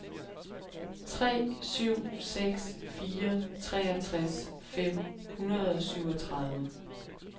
tre syv seks fire treogtres fem hundrede og syvogtredive